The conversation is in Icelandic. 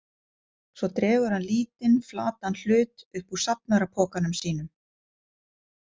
Svo dregur hann lítinn, flatan hlut upp úr safnarapokanum sínum.